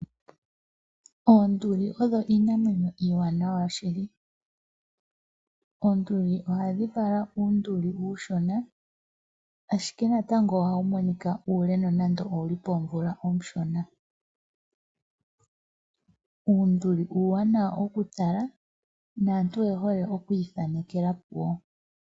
Oonduli odho iinamwenyo iiwanawa shili, oonduli ohadhi kala uunduli uushona ashike natango ohawu monika uule nonando poomvula ooshona. Uunduli uuwanawa okutala naantu oye hole okwiithanekela puwo.